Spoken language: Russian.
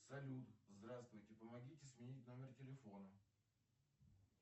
салют здравствуйте помогите сменить номер телефона